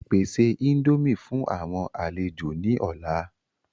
Pèsè índòmí fún àwọn àlejò ni ọ̀la!